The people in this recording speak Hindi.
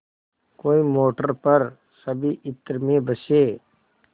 कोई मोटर पर सभी इत्र में बसे